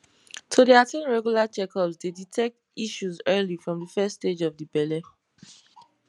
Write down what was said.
to dey at ten d regular checkups dey detect issues early from de first stage of de belle